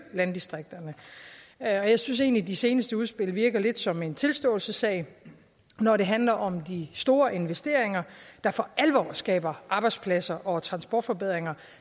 landdistrikterne og jeg synes egentlig de seneste udspil virker lidt som en tilståelsessag når det handler om de store investeringer der for alvor skaber arbejdspladser og transportforbedringer